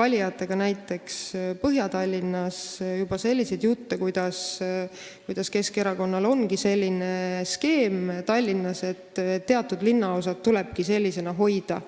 valijatega näiteks Põhja-Tallinnas kohtudes juba selliseid jutte, kuidas Keskerakonnal olevatki Tallinnas selline skeem, et teatud linnaosad tulebki sellisena hoida.